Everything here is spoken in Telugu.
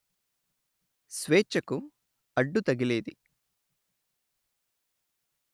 స్వేచ్ఛకు అడ్డు తగిలేది